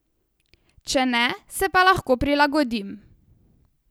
Če ne, se pa lahko prilagodim.